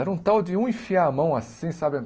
Era um tal de um enfiar a mão assim, sabe?